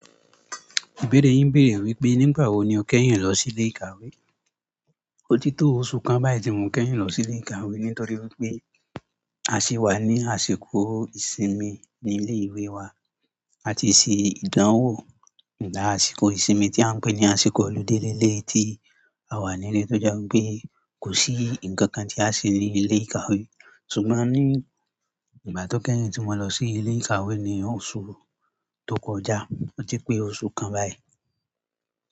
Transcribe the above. Ìbéèrè yín bèèrè wípé nígbà wo ni o kẹ́yìn lọ sí ilé ìkàwé. Ó ti tó ọ̀su kan báyìí tí mo kẹ́yìn lọ sí ilé ìkàwé nítorí wípé a ṣí wà ní àsìkò ìsinmi ní ilé ìwé wa. A ti ṣe ìdánwò ṣùgbọ́n àsìkò ìsinmi tí a ń pè ní àsìkò ọludé lé lé tí a wà nílé tó jẹ́ wípé kò sí ǹkan kan tí a ṣe ní ilé ìkàwé. Ṣùgbọ́n ní ìgbà tó kẹ́yìn tí mo lọ sí ilé ìkàwé ni oṣù tó kọjá, ọ̀ ti pé oṣù kan báyìí.